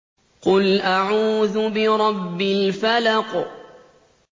قُلْ أَعُوذُ بِرَبِّ الْفَلَقِ